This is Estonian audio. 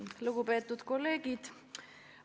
Lugupeetud kolleegid!